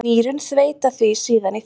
Nýrun þveita því síðan í þvag.